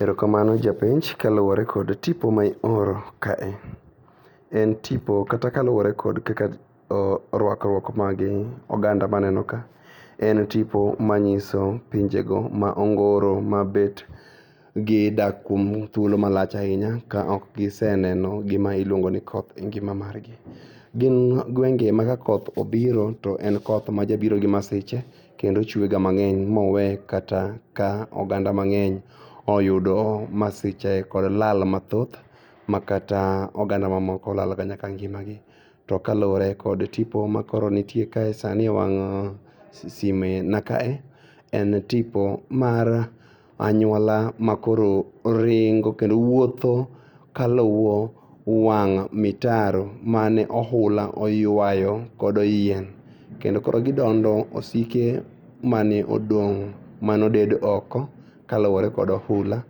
Erokamano japenj kaluore kod tipo maioro kae en tipo kata kaluore kod kaka ruakruok magi oganda maneno ka en tipo manyiso pinjego ma ongoro ma bet gidak kuom thuolo malach ainya okgiseneno gima iluongoni koth e ngima margi. Gin gwenge ma kakoth obiro to en koth majabiro gi masiche kendo ochuega mang'eny mowee kata ka oganda mang'eny oyudo masiche kod lal mathoth ma kata oganda mamoko laloga nyaka ngimagi. To ka luore kod tipo makoro nitie kae sani e wang' sime na kae en tipo mar anyuola ma koro ringo kendo wuotho kaluwo wang' mitaro mane ohula oyuayo kodo yien. Kendo koro gidondo osike mane odong' manobed oko kaluore kod ohula